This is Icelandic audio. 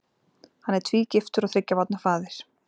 Hann er tvígiftur og þriggja barna faðir.